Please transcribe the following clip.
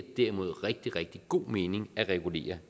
derimod rigtig rigtig god mening at regulere